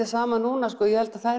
saman núna ég held að það